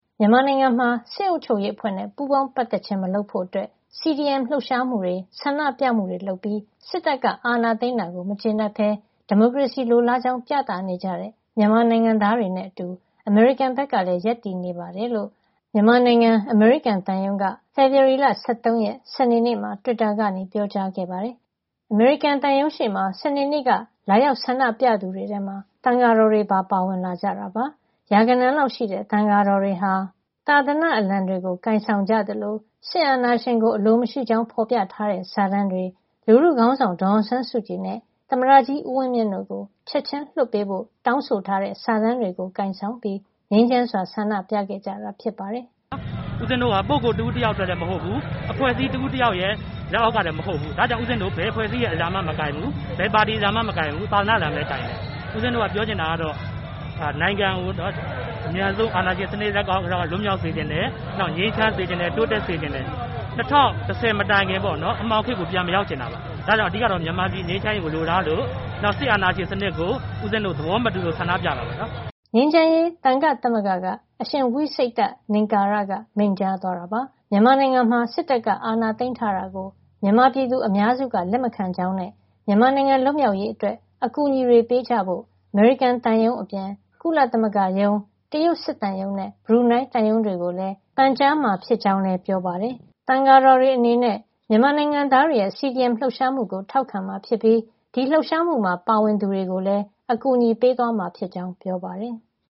မြန်မာနိုင်ငံမှာ စစ်အုပ်ချုပ်ရေးအဖွဲ့နဲ့ ပူးပေါင်းပတ်သက်ခြင်း မလုပ်ဖို့ CDM လှုပ်ရှားမှုတွေ၊ ဆန္ဒပြမှုတွေ လုပ်ပြီး စစ်တပ်က အာဏာသိမ်းတာကို မကျေနပ်ဘဲ ဒီမိုကရေစီလိုလားကြောင်း ပြသနေကြတဲ့ မြန်မာနိုင်ငံသားတွေနဲ့အတူ အမေရိကန်ဘက်ကလည်း ရပ်တည်နေတယ်လို့ မြန်မာနိုင်ငံ အမေရိကန်သံရုံးက ဖေဖော်ဝါရီလ ၁၃ ရက် စနေနေ့မှာ တွစ်တာကနေ ပြောကြားခဲ့ပါတယ်။ အမေရိကန်သံရုံးရှေ့မှာ စနေနေ့က လာရောက်ဆန္ဒပြသူတွေထဲမှာ သံယာတော်တွေပါ ပါဝင်လာတာပါ။ ရာဂဏန်းလောက်ရှိတဲ့ သံယာတော်တွေဟာ သာသနာ့အလံတွေ ကိုင်ဆောင်ပြီး စစ်အာဏာရှင်ကို အလိုမရှိကြောင်း ဖော်ပြထားတဲ့ စာတန်းတွေ၊ လူထုခေါင်းဆောင် ဒေါ်အောင်ဆန်းစုကြည်နဲ့ သမ္မတကြီး ဦးဝင်းမြင့်တို့ကို ချက်ချင်းလွှတ်ပေးဖို့ စာတန်းတွေ ကိုင်ဆောင်ပြီး ငြိမ်းချမ်းစွာ ဆန္ဒပြခဲ့ကြတာ ဖြစ်ပါတယ်။ “ဦးဇင်းတို့က ပုဂ္ဂိုလ်တဦးတယောက်အတွက် မဟုတ်ဘူး။ အဖွဲ့အစည်းတခု လက်အောက်ကလည်း မဟုတ်ဘူး။ ဒါကြောင့် ဦးဇင်းတို့ ဘယ်အဖွဲ့အစည်းရဲ့ အလံမှလည်း မကိုင်ဘူး၊ ဘယ်ပါတီအလံမှလည်း မကိုင်ဘူး။ သာသနာ့အလံပဲ ကိုင်တယ်။ ဦးဇင်းတို့ ပြောချင်တာကတော့ နိုင်ငံကို အမြန်ဆုံး အာဏာရှင်စနစ် လက်က လွတ်မြောက်စေချင်တယ်။ ငြိမ်းချမ်းစေချင်တယ်။ တိုးတက်စေချင်တယ်။ ၂၀၁၀ မတိုင်ခင်က အမှောင်ခေတ်ကို ပြန်မရောက်စေချင်ဘူး။ အဓိကကတော့ မြန်မာပြည် ငြိမ်းချမ်းရေးကို လိုလားသလို စစ်အာဏာရှင်စနစ်ကို ဦးဇင်းတို့ သဘောမတူလို့ ဆန္ဒပြတာပါ။” ငြိမ်းချမ်းရေး သံယာ့သမဂ္ဂက အရှင်ဝိစိတ္တ လင်္ကာရက မိန့်ကြားသွားတာပါ။ မြန်မာနိုင်ငံမှာ စစ်တပ်က အာဏာသိမ်းထားတာကို မြန်မာပြည်သူ အများစုက လက်မခံကြောင်းနဲ့ မြန်မာနိုင်ငံ လွတ်မြောက်ရေးအတွက် အကူအညီတွေပေးကြဖို့ အမေရိကန်သံရုံးအပြင် ကုလသမဂ္ဂရုံး၊ တရုတ်စစ်သံရုံးနဲ့ ဘရူနိုင်းသံရုံးတွေကိုလည်း ပန်ကြားမှာဖြစ်ကြောင်း ပြောပါတယ်။ သံယာတော်တွေအနေနဲ့ မြန်မာနိုင်ငံသားတွေရဲ့ CDM လှုပ်ရှားမှုကို ထောက်ခံမှာဖြစ်ပြီး ဒီလှုပ်ရှားမှုမှာ ပါဝင်သူတွေကိုလည်း အကူအညီပေးမှာ ဖြစ်ကြောင်း ပြောပါတယ်။